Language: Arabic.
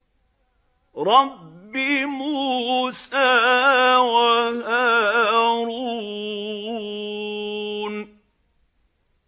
رَبِّ مُوسَىٰ وَهَارُونَ